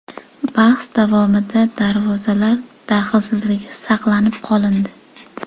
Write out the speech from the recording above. Bahs davomida darvozalar daxlsizligi saqlanib qolindi.